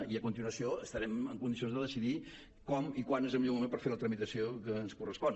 i a continuació estarem en condicions de decidir com i quan és el millor moment per fer la tramitació que ens correspon